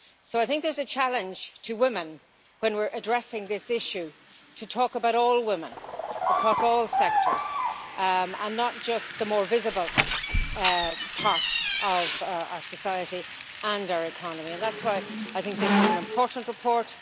So I think there is a challenge to women, when we are addressing this issue, to talk about all women across all sectors and not just the more visible parts of our society and our economy. That is why I think this is an important report.